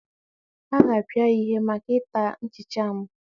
A ga-apịa ya ihe maka ịta nchicha m